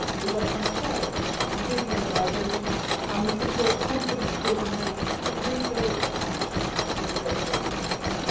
ties. We work on trade and visa liberalisation and we support confidence building measures to rebuild ties with the breakaway republics.